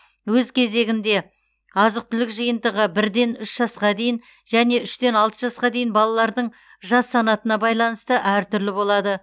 өз кезегінде азық түлік жиынтығы бірден үш жасқа дейін және үштен алты жасқа дейін балалардың жас санатына байланысты әр түрлі болады